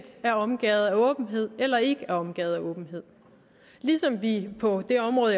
er omgærdet af åbenhed eller ikke er omgærdet af åbenhed ligesom vi på det område